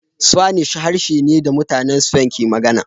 Spanish harshe ne da mutanen Spain ke magana